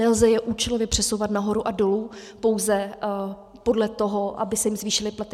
Nelze je účelově přesouvat nahoru a dolů pouze podle toho, aby se jim zvýšily platy.